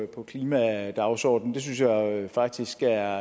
på klimadagsordenen det synes jeg faktisk er